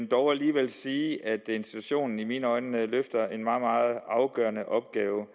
dog alligevel sige at institutionen i mine øjne løfter en meget meget afgørende opgave